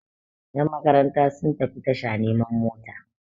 yanmakaranta sun tafi tasha neman mota